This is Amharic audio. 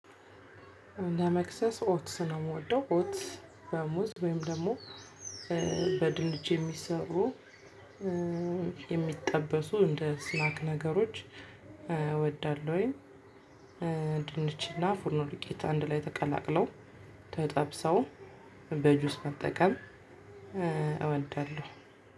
ለመክሰስ ኦትስ ነው። የምወደው ኦትስ በሙዝ ወይም ደግሞ በድንች የሚሰሩ የሚጠበሱ እንደ ስናክ ነገሮች እወዳለሁኝ። ድንችና ፉርኖ ዱቄት አንድ ላይ ተቀላቅለው ተጠብሰው በጁስ መጠቀም እወልዳለሁ።